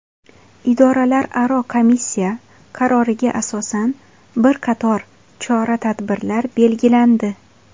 Idoralararo komissiya qaroriga asosan bir qator chora-tadbirlar belgilandi.